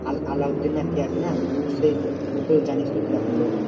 আল আলাউদ্দিন নাকি আছে না ওতো জানিস তো কিরকম লোক।